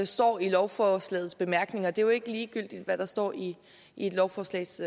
står i lovforslagets bemærkninger det er jo ikke ligegyldigt hvad der står i et lovforslags